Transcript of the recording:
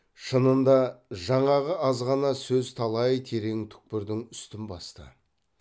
шынында жаңағы аз ғана сөз талай терең түкпірдің үстін басты